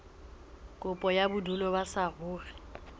kopo ya bodulo ba saruri